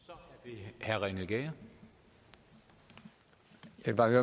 dag i den